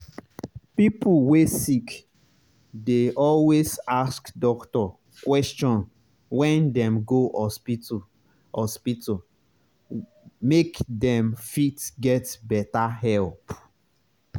pipo wey sick dey always ask doctor question wen dem go hospital hospital make dem fit get better help.